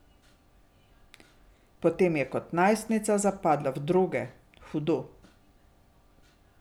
Potem je kot najstnica zapadla v droge, hudo.